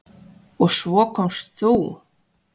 Og svo komst þú!